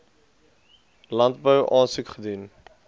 landbou aansoek gedoen